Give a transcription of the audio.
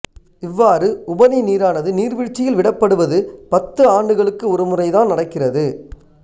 இவ்வாறு உபரி நீரானது நீர்வீழ்ச்சியில் விடப்படுவது பத்து ஆண்டுகளுக்கு ஒருமுறைதான் நடக்கிறது